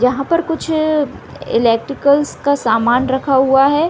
यहाँ पर कुछ एलेक्ट्रिकल्स का सामान रखा हुआ है।